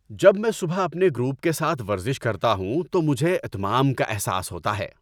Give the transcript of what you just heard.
جب میں صبح اپنے گروپ کے ساتھ ورزش کرتا ہوں تو مجھے اتمام کا احساس ہوتا ہے۔